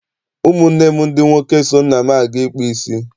Ụmụ nne m ndị nwoke so nna m aga ịkpụ isi.